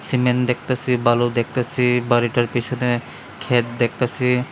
Cement দেখতাসি বালু দেখতাসি বাড়িটার পিসনে ক্ষেত দেখতাছি।